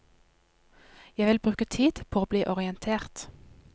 Jeg vil bruke tid på å bli orientert.